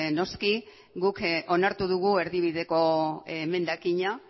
noski guk onartu dugu erdibideko emendakina